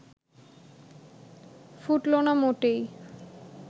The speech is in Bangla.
ফুটল না মোটেই